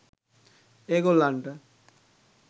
ඒ ගොල්ලන්ට